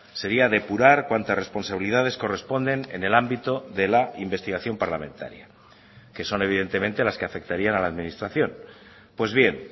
sería depurar cuantas responsabilidades corresponden en el ámbito de la investigación parlamentaria que son evidentemente las que afectarían a la administración pues bien